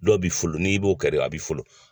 Dɔw bi folon n'i b'o kɛ a bi folon.